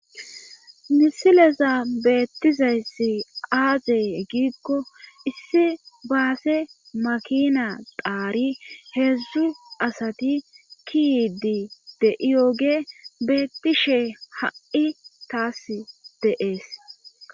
Misilezan beettizayssi aazey giikko issi baase makina dhaari heedzdzu asati ki yiidi de7iyooge beettishe ha7i taas de7ees.